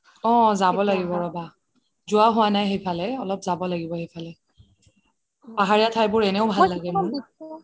অহ জাব লাগিব ৰবা যোৱা হুৱা নাই সেইফালে যাব লাগিব সেইফালে পাহাৰিয়া ঠাই বোৰ এনেও ভাল লাগে